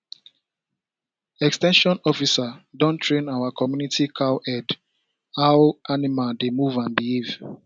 ex ten sion officer don train our community cowherd how animal dey move and behave